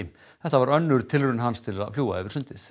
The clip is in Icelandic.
þetta var önnur tilraun hans til að fljúga yfir sundið